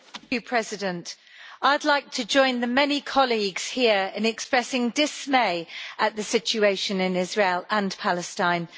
Mr President, I would like to join the many colleagues here in expressing dismay at the situation in Israel and Palestine.